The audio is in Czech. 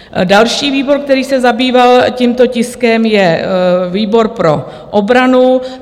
Další výbor, který se zabýval tímto tiskem, je výbor pro obranu.